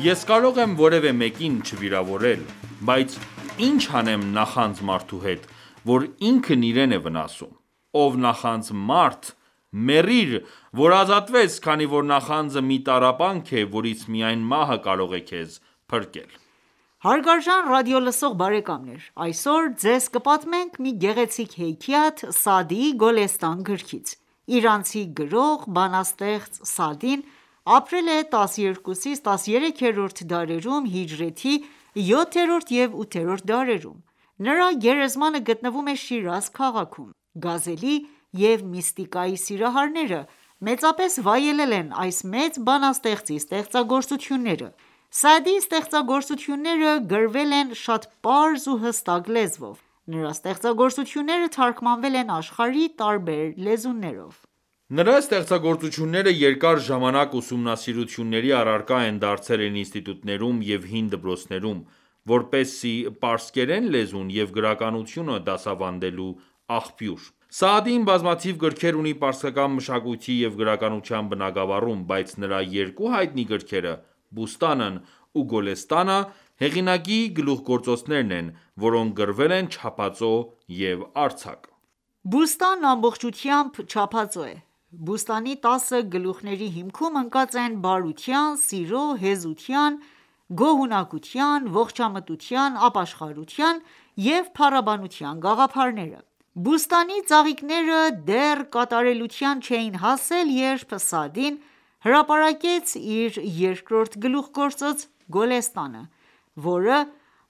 Ես կարող եմ որևէ մեկին չվիրավորել, բայց ի՞նչ անեմ նախանձ մարդու հետ, որն ինքն իրեն է վնասում: Ով նախանձ մարդ, մեռիր, որ ազատվես, քանի որ նախանձը մի տառապանք է, որից միայն մահը կարող է քեզ փրկել: Հարգարժան ռադիոլսող բարեկամներ, այսօր Ձեզ կպատմենք մի գեղեցիկ հեքիաթ Սաադիի Գոլեստան գրքից: Իրանցի գրող, բանաստեղծ Սաադին ապրել է 12-13-րդ դարերում (հիջրեթի 7-րդ և 8-րդ դարերում): Նրա գերեզմանը գտնվում է Շիրազ քաղաքում։ Գազելի և միստիկայի սիրահարները մեծապես վայելել են այս մեծ բանաստեղծի ստեղծագործությունները: Սաադիի ստեղծագործությունները գրվել են շատ պարզ ու հստակ լեզվով: Նրա ստեղծագործությունները թարգմանվել են աշխարհի տարբեր լեզուներով: Նրա ստեղծագործությունները երկար ժամանակ ուսումնասիրությունների առարկա են դարձել ինստիտուտներում և հին դպրոցներում՝ որպես պարսկերեն լեզու և գրականություն դասավանդելու աղբյուր: Սաադին բազմաթիվ գրքեր ունի պարսկական մշակույթի և գրականության բնագավառում, բայց նրա երկու հայտնի գրքերը՝ «Բուստանն» ու «Գոլեստանը», հեղինակի գլուխգործոցներն են, որոնք գրվել են չափածո և արձակ։ «Բուստան»-ն ամբողջությամբ չափածո է: «Բուստանի» տասը գլուխ­ների հիմքում ընկած են բարության, սիրո, հեզության, գոհունակության, ողջամտության, ապաշխարության և փառաբանության գաղափարները։ «Բուստանի» ծաղիկները դեռ կատարելության չէին հասել, երբ Սաադին հրապարակեց իր երկրորդ գլուխգործոցը «Գոլեստանը», որը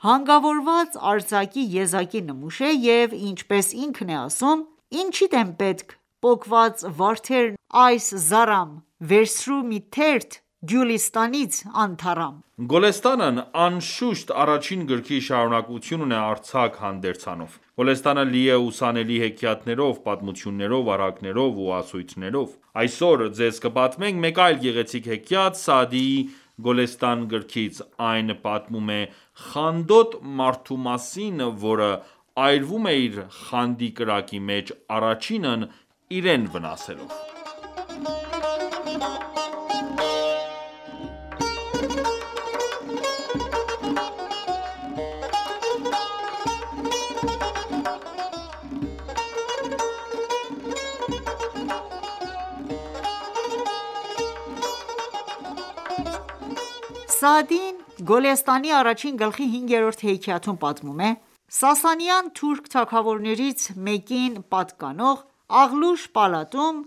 հանգավորված արձակի եզակի նմուշ է և ինչպես ինքն է ասում.«Ինչիդ են պետք պոկված վարդերն այս զառամ, վերցրու մի թերթ «Գյուլիստանից» անթառամ»։ «Գոլեստանն» անշուշտ, առաջին գրքի շարունակությունն է արձակ հանդերձանով: Գոլեստանը լի է ուսանելի հեքիաթներով, պատմություններով, առակներով ու ասույթներով: Այսօր ձեզ կպատմենք մեկ այլ գեղեցիկ հեքիաթ Սաադիի «Գոլեստան» գրքից:Այն պատմում է խանդոտ մարդու մասին, որը այրվում է իր խանդի կրակի մեջ առաջինն իրեն վնասելով։ Սաադին Գոլեստանի առաջին գլխի հինգերորդ հեքիաթում պատմում է․- Սասանյան թուրք թագավորներից մեկին պատկանող Աղլուշ պալատում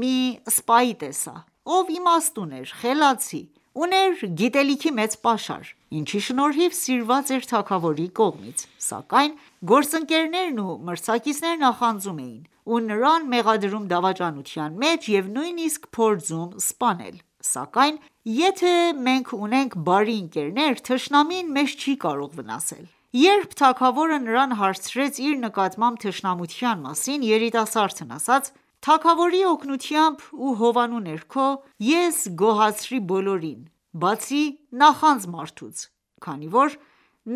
մի սպայի տեսա, ով իմաստուն էր, խելացի, ուներ գիտելիքի մեծ պաշար, ինչի շնորհիվ սիրված էր թագավորի կողմից: Սակայն գործընկերներն ու մրցակիցները նախանձում էին ու նրան մեղադրում դավաճանության մեջ և նույնիսկ փորձում սպանել: Սակայն եթե մենք ունենք բարի ընկերներ, թշնամին մեզ չի կարող վնասել: Երբ թագավորը նրան հարցրեց իր նկատմամբ թշնամության մասին, երիտասարդն ասաց. «Թագավորի օգնությամբ ու հովանու ներքո ես գոհացրի բոլորին, բացի նախանձ մարդուց, քանի որ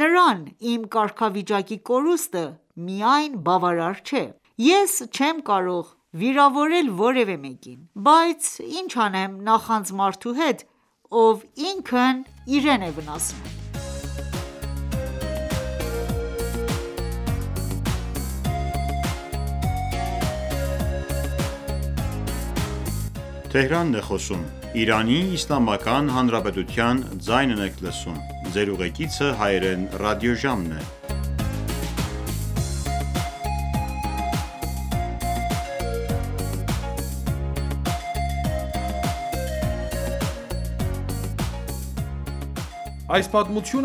նրան իմ կարգավիճակի կորուստը միայն բավարար չէ: Ես չեմ կարող վիրավորել որևէ մեկին, բայց ի՞նչ անեմ նախանձ մարդու հետ, ով ինքն իրեն է վնասում: Այս պատմությունը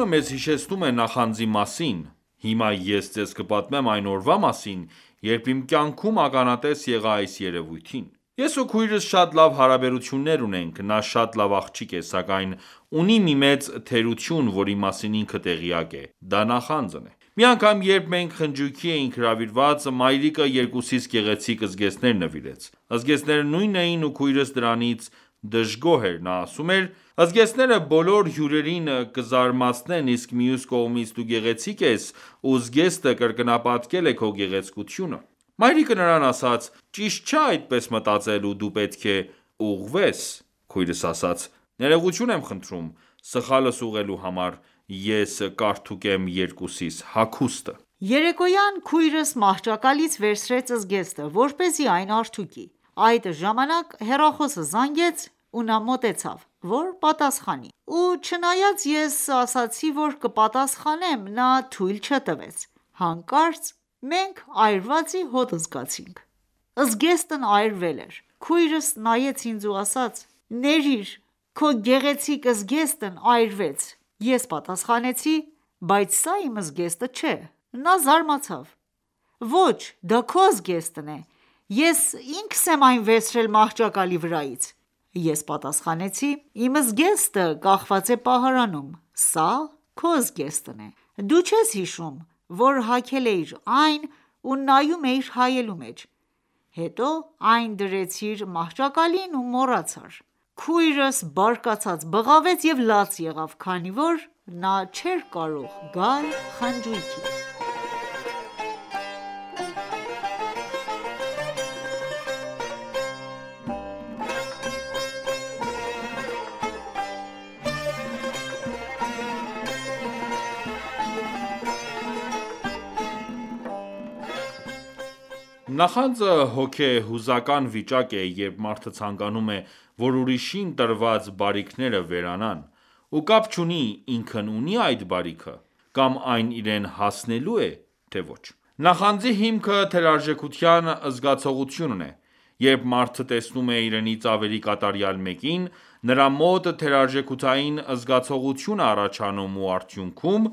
մեզ հիշեցնում է նախանձի մասին: Հիմա ես ձեզ կպատմեմ այն օրվա մասին, երբ իմ կյանքում ականատես եղա այս երևույթին: Ես ու քույրս շատ լավ հարաբերություններ ունենք: Նա շատ լավ աղջիկ է, սակայն ունի մի մեծ թերություն, որի մասին ինքը տեղյակ է, դա նախանձն է: Մի անգամ, երբ մենք խնջույքի էինք հրավիրված, մայրիկը երկուսիս գեղեցիկ զգեստներ նվիրեց: Զգեստները նույնն էին ու քույրս դրանից դժգոհ էր: Նա ասում էր,-«Զգեստները բոլոր հյուրերին կզարմացնեն, իսկ մյուս կողմից դու գեղեցիկ ես, ու զգեստը կրկնապատկել է քո գեղեցկությունը»: Մայրիկը նրան ասաց․«ճիշտ չէ այդպես մտածել ու դու պետք է ուղղվես: Քույրս ասաց. «Ներողություն եմ խնդրում: Սխալս ուղղելու համար, ես կարդուկեմ երկուսիս հագուստը»: Երեկոյան քույրս մահճակալից վերցրեց զգեստը, որպեսզի այն արդուկի: Այդ ժամանակ հեռախոսը զանգեց ու նա մոտեցավ, որ պատասխանի: Ու չնայած ես ասացի որ կպատասխանեմ, նա թույլ չտվեց: Հանկարծ մենք այրվածի հոտ զգացինք: Զգեստն այրվել էր: Քույրս նայեց ինձ ու ասաց. «Ներիր քույրիկս, քո գեղեցիկ Ես պատասխանեցի. «Բայց սա իմ զգեստը չէ»: Նա զարմացավ. «Ոչ, դա քո զգեստն է, ես ինքս եմ այն վերցրել մահճակալի վրայից»: Ես պատասխանեցի. «Իմ զգեստը կախված է պահարանում: Սա քո զգեստն է: Դու չես հիշում, որ հագել էիր այն ու նայում էիր հայելու մեջ: Հետո այն դրեցիր մահճակալին ու մոռացար»: Քույրս բարկացած բղավեց և լաց եղավ, քանի որ նա չէր կարող գալ խնջույքի։ Նախանձը հոգեհուզական վիճակ է, երբ մարդը ցանկանում է, որ ուրիշին տրված բարիքները վերանան: Ու կապ չունի ինքն ունի՞ այդ բարիքը, կամ այն իրեն հասնելո՞ւ է, թե ոչ: Նախանձի հիմքը թերարժեքության զգացողությունն է: Երբ մարդը տեսնում է իրենից ավելի կատարյալ մեկին, նրա մոտ թերարժեքության զգացողություն է առաջանում ու արդյունքում՝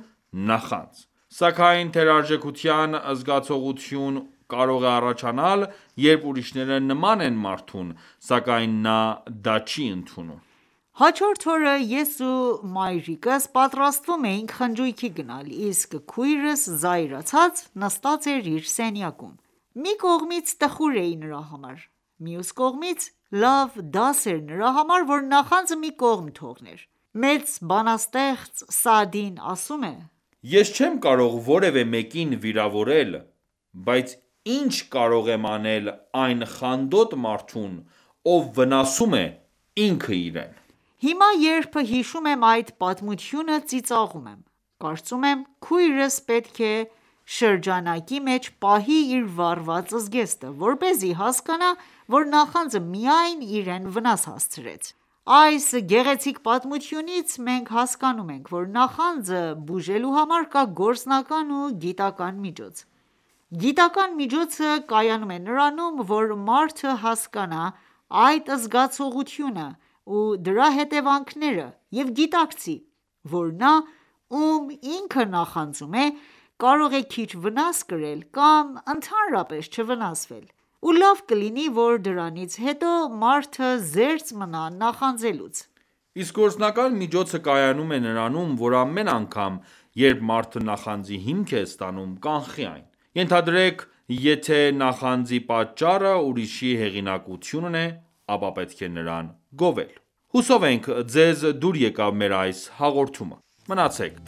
նախանձ: Սակայն թերարժեքության զգոցողություն կարող է առաջանալ, երբ ուրիշները նման են մարդուն, սակայն նա դա չի ընդունում: Հաջորդ օրը ես ու մայրիկս պատրաստվում էինք խնջույքի գնալ, իսկ քույրս զայրացած նստած էր իր սենյակում։ Մի կողմից տխուր էի նրա համար, մյուս կողմից լավ դաս էր նրա համար, որ նախանձը մի կողմ թողներ։ Մեծ բանաստեղծ Սաադին ասում է․- «Ես չեմ կարող որևէ մեկին վիրավորել, բայց ի՞նչ կարող եմ անել այն խանդոտ մարդուն, ով վնասում է ինքն իրեն»: Հիմա, երբ հիշում եմ այդ պատմությունը, ծիծաղում եմ: Կարծում եմ քույրս պետք է շրջանակի մեջ պահի իր վառված զգեստը, որպեսզի հասկանա, որ նախանձը միայն իրեն վնաս հասցրեց: Այս գեղեցիկ պատմությունից մենք հասկանում ենք, որ նախանձը բուժելու հմար կա գործնական ու գիտական միջոց: Գիտական միջոցը կայանում է նրանում, որ մարդը հասկանա այդ զգացողությունը ու դրա հետևանքները և գիտակցի, որ նա, ում ինքը նախանձում է, կարող է քիչ վնաս կրել կամ ընդհանրապես չվնասվել: Ու լավ կլինի որ դրանից հետո մարդը զերծ մնա նախանձելուց: Իսկ գործնական միջոցը կայանում է նրանում, որ ամեն անգամ, երբ մարդը նախանձի հիմք է տեսնում, կանխի այն: Ենթադրենք եթե նախանձի պատճառը ուրիշի հեղինակությունն է, ապա պետք է նրան գովել: Հուսով ենք, ձեզ դուր եկավ մեր այս հաղորդումը։ Մնացեք